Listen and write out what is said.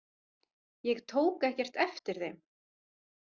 Ég tók ekkert eftir þeim.